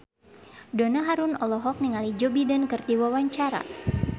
Donna Harun olohok ningali Joe Biden keur diwawancara